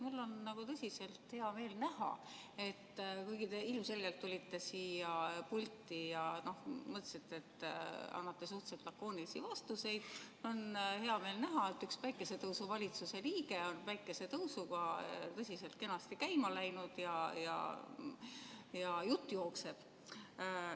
Mul on tõsiselt hea meel näha, et kuigi te ilmselgelt tulite siia pulti ja mõtlesite, et annate suhteliselt lakoonilisi vastuseid, on üks päikesetõusuvalitsuse liige koos päikesetõusuga tõsiselt kenasti käima läinud ja jutt jookseb.